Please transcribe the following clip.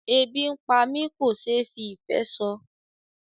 Ebi ń pá mi kò ṣe fí ìfé sọ.